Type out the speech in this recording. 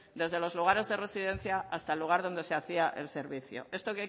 desde los lugares de residencia hasta el lugar donde se hacía el servicio esto